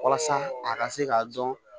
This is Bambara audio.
Walasa a ka se k'a dɔn